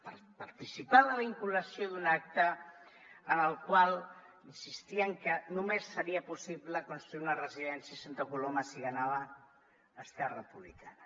per participar en la vinculació d’un acte en el qual insistien que només seria possible construir una residència a santa coloma si guanyava esquerra republicana